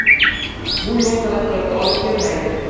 Bu yo‘l taraqqiyotga olib kelmaydi.